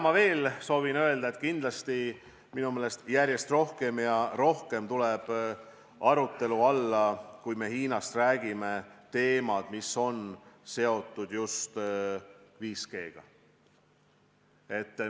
Ma soovin veel öelda, et kindlasti tulevad minu meelest järjest rohkem ja rohkem arutelu alla – kui me Hiinast räägime – teemad, mis on seotud just 5G-ga.